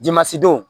Dimansi don